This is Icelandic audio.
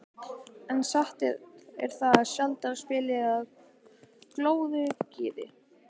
En satt er það, sjaldan spillir það glöðu geði.